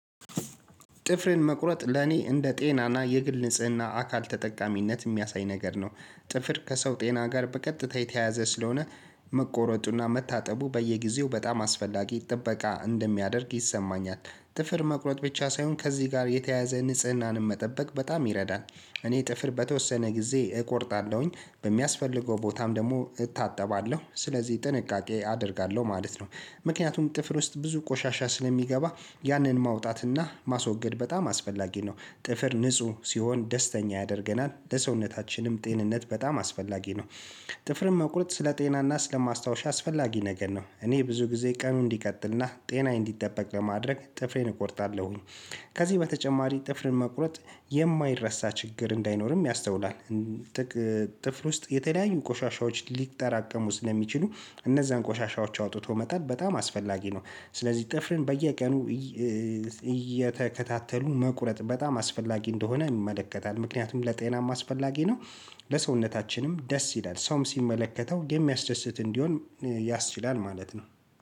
ጥፍርን መቁረጥ ለኔ እንደ ጤናና የግል ንጽህና አካል ተጠቃሚነት የሚያሳይ ነገር ነው። ጥፍር ከሰው ጤና ጋር በቀጥታ የተያያዘ ስለሆነ መቆረጡና መታጠቡ በየጊዜው በጣም አስፈላጊ ጥበቃ እንደሚያደርግ ይሰማኛል። ጥፍር መቁረጥ ብቻ ሳይሆን ከዚህ ጋር የተያያዘ ንጽህናንም መጠበቅ በጣም ይረዳል። እኔ ጥፍር በተወሰነ ጊዜ እቆርጣለሁኝ በሚያስፈልገው ቦታም ደግሞ እታጠባለሁ ስለዚህ ጥንቃቄ አደርጋለሁ ማለት ነው። ምክንያቱም ጥፍር ውስጥ ብዙ ቆሻሻ ስለሚገባ ያንን ማውጣትና ማስወገድ በጣም አስፈላጊ ነው። ጥፍር ንጹህ ሲሆን ደስተኛ ያደርገናል ለሰውነታችንም ጤንነት በጣም አስፈላጊ ነው። ጥፍርን መቁረጥ ስለ ጤናና ስለማስታወሻ አስፈላጊ ነገር ነው እኔ ብዙ ጊዜ ቀኑን እንዲቀጥልና ጤናዬን እንዲጠበቅ ለማድረግ ጥፍሬን እቆርጣለሁኝ። ከዚህ በተጨማሪ ጥፍርን መቁረጥ የማይረሳ ችግር እንዳይኖርም ያስተውላል። ጥፍር ውስጥ የተለያዩ ቆሻሻዎች ሊጠራቀሙ ስለሚችሉ እነዛን ቆሻሻዎች አውጥቶ መጣል በጣም አስፈላጊ ነው። ስለዚህ ጥፍርን በየቀኑ እየተከታተሉ መቁረጥ በጣም አስፈላጊ እንደሆነ ይመለከታል ምክንያቱም ለጤናም አስፈላጊ ነው። ለሰውነታችንም ደስ ይላል ሰውም ሲመለከተው የሚያስደስት እንዲሆን ያስችላል ማለት ነው።